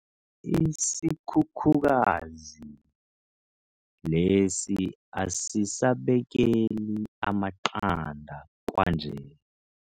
Isikhukhukazi lesi asisabekeli amaqanda kwanje.